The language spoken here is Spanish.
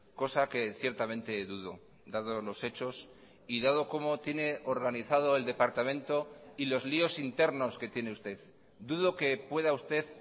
cosa que ciertamente dudo dado los hechos y dado como tiene organizado el departamento y los líos internos que tiene usted dudo que pueda usted